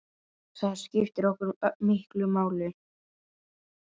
Það skiptir okkur miklu máli.